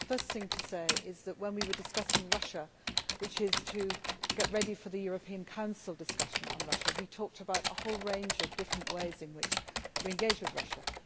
The first thing to say is that when we were discussing Russia, which is getting ready for the European Council discussion on Russia, we talked about a whole range of different ways in which we engage with Russia.